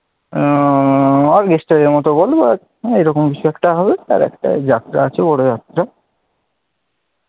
আহ জনিত বটে এরকম কিছু একটা হবে, আর একটা যাত্রা আছে বড় যাত্রা,